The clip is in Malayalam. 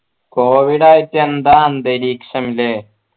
covid ആയിട്ട് എന്താ അന്തരീക്ഷം അല്ലെ